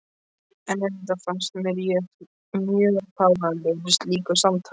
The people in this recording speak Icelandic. En auðvitað fannst mér ég mjög fáránlegur í slíku samtali.